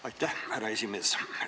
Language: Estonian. Aitäh, härra esimees!